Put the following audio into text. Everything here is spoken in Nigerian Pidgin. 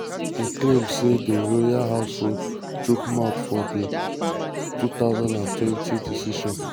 e claim say di royal household chook mouth for di 2020 decision